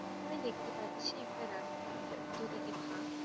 এখানে দেখতে পাচ্ছি একটা রাস্তা দুদিকে ফাক।